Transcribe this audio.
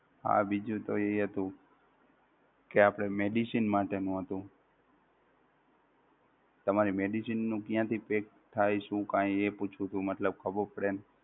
હા બીજુ તો એ હતું કે આપણે medicine માટેનું હતું. તમારી medicine નું ક્યાંથી pack થાય શું કઈ એ પૂછવું હતું મતલબ ખબર પડે એમ